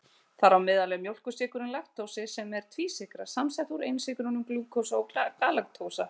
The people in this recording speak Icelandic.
Þar á meðal er mjólkursykurinn laktósi sem er tvísykra samsett úr einsykrunum glúkósa og galaktósa.